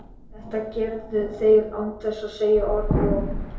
Þetta gerðu þeir án þess að segja orð og